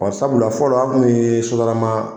Ɔ Sabula fɔlɔ a kun bɛ Sotrama.